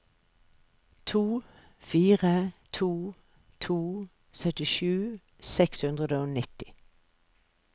to fire to to syttisju seks hundre og nitti